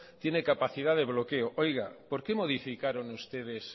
tiene capacidad de bloqueo oiga por qué modificaron ustedes